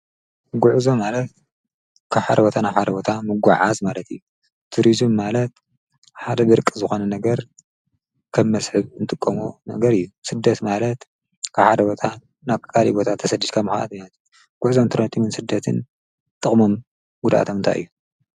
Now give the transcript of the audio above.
ጕዕዞም ማለትካብ ሓደ ቦታ ናብካልእ ቦታ ምጕዓዝ ማለት እዩ ትርዙም ማለት ሓደ ድርቂ ዝዃነ ነገር ከብ መስሕብ እንትቆም ነገር እዩ ሥደት ማለት ካሓረወታ ናካልይ ቦታ ተሠዲካ መዃኣት ናት ጕዕዞም ትርኔቴምን ስደትን ጥቕሞም ጕዳኣቶምንታይ ?